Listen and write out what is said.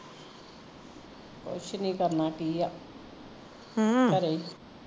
ਕੁਸ਼ ਨੀ ਕਰਨਾ ਕੀ ਆ ਹਮ ਘਰੇ ਈ